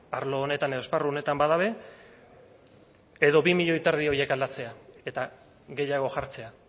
arlo honetan edo esparru honetan bada ere edo bi koma bost milioi horiek aldatzea eta gehiago jartzea